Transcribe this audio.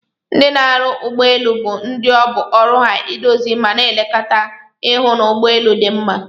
Ndi n'arụ ụgbọ elụ bu ndi ọbụ oru ha idozi mana elekọta ihụ n'ụgbọ elu di mma.